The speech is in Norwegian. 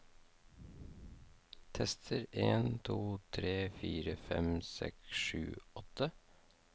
Tester en to tre fire fem seks sju åtte